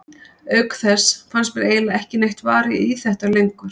Auk þess fannst mér eiginlega ekki neitt varið í þetta lengur.